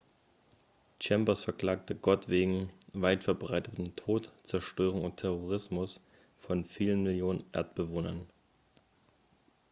chambers verklagte gott wegen weitverbreitetem tod zerstörung und terrorisierung von vielen millionen erdbewohnern